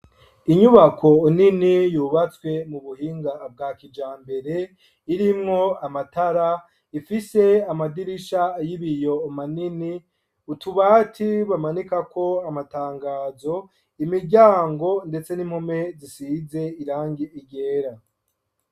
Inyubako nini yubatswe mu buhinga bwa kijambere irimwo amatara, ifise amadirisha y'ibiyo manini ,utubati bamanika ko amatangazo ,imiryango ndetse n'impome zisize irangi ryera.